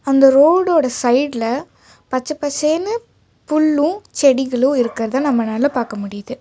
அந்த ரோடோட சைடுல பச்சப்பசேனு ஃபுல்லும் செடிகளு இருக்றத நம்மனால பாக்க முடிது.